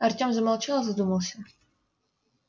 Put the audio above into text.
артём замолчал и задумался